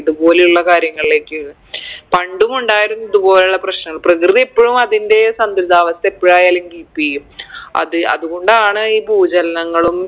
ഇതുപോലുള്ള കാര്യങ്ങളിലേക്ക് പണ്ടും ഉണ്ടായിരുന്നു ഇതുപോലുള്ള പ്രശ്നങ്ങള് പ്രകൃതി ഇപ്പഴും അതിൻറെ സന്തുലിതാവസ്ഥ എപ്പഴായാലും keep എയ്യും അത് അതുകൊണ്ടാണ് ഈ ഭൂചലനങ്ങളും